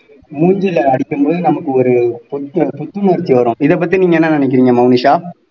மூஞ்சில அடிக்கும் போது நமக்கு ஒரு புத்த புத்துணர்ச்சி வரும் இதை பத்தி நீங்க என்ன நினைக்கிறீங்க மோனிஷா